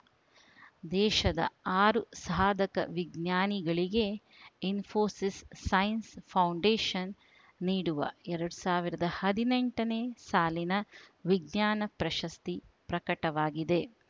ದೇಶದ ಆರು ಸಾಧಕ ವಿಜ್ಞಾನಿಗಳಿಗೆ ಇಸ್ಫೋಸಿಸ್‌ ಸೈನ್ಸ್‌ ಫೌಂಡೇಶನ್‌ ನೀಡುವ ಎರಡ್ ಸಾವಿರದ ಹದಿನೆಂಟನೇ ಸಾಲಿನ ವಿಜ್ಞಾನ ಪ್ರಸಸ್ತಿ ಪ್ರಕಟವಾಗಿದೆ